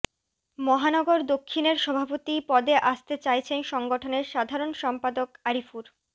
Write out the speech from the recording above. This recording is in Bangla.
মহানগর দক্ষিণের সভাপতি পদে আসতে চাইছেন সংগঠনের সাধারণ সম্পাদক আরিফুর